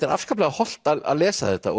er afskaplega hollt að lesa þetta